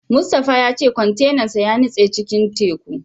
Mustapha ya ce kwantenan sa ya nutse cikin teku.